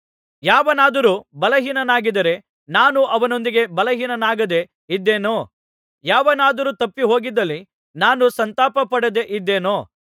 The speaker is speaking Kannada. ಯಾವನಾದರೂ ಬಲಹೀನನಾಗಿದ್ದರೆ ನಾನೂ ಅವನೊಂದಿಗೆ ಬಲಹೀನನಾಗದೆ ಇದ್ದೆನೋ ಯಾವನಾದರೂ ತಪ್ಪಿಹೋಗಿದ್ದಲ್ಲಿ ನಾನು ಸಂತಾಪಪಡದೆ ಇದ್ದೆನೋ